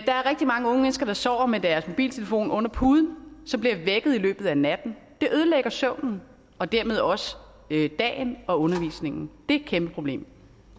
der er rigtig mange unge mennesker der sover med deres mobiltelefoner under puden og som bliver vækket i løbet af natten det ødelægger søvnen og dermed også dagen og undervisningen det er et kæmpe problem